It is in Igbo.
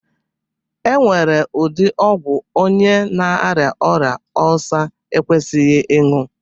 E nwere ụdi ọgwu onye na aria ọria Ọlsa ekwesighi ịñyu.